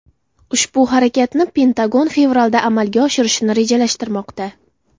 Ushbu harakatni Pentagon fevralda amalga oshirishni rejalashtirmoqda.